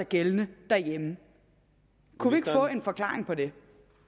gældende derhjemme kunne vi ikke få en forklaring på det